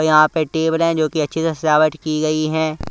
यहां पे टेबल है जो कि अच्छे से सजावट की गई है।